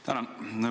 Tänan!